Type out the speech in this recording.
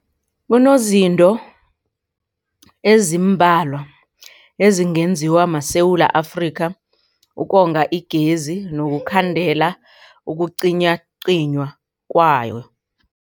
Kunezinto ezimbalwa ezingenziwa maSewula Afrika ukonga igezi nokukhandela ukucinywacinywa kwayo.